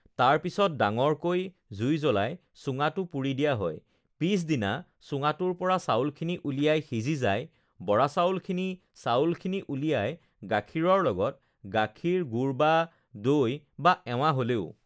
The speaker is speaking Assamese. তাৰপিছত ডাঙৰকৈ জুই জ্ৱলাই চুঙাটো পুৰি দিয়া হয় পিছদিনা চুঙাটোৰ পৰা চাউলখিনি উলিয়াই সিজি যায় বৰা চাউলখিনি চাউলখিনি উলিয়াই গাখীৰৰ লগত গাখীৰ গুৰ বা দৈ বা এৱা হ'লেও